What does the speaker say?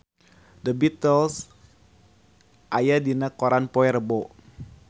The Beatles aya dina koran poe Rebo